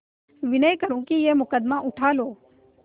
विनय करुँ कि यह मुकदमा उठा लो